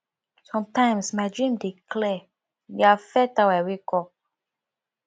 sometimes my dreams dey clear e dey affect how i wake up